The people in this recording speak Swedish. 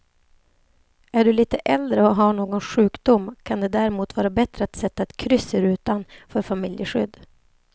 Är du lite äldre och har någon sjukdom kan det därmot vara bättre att sätta ett kryss i rutan för familjeskydd.